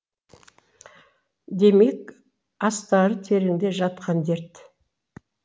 демек астары тереңде жатқан дерт